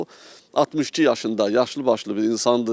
Bu 62 yaşında yaşlıbaşlı bir insandır.